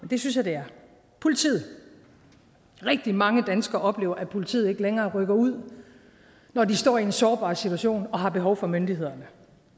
det synes jeg det er politiet rigtig mange danskere oplever at politiet ikke længere rykker ud når de står i en sårbar situation og har behov for myndighederne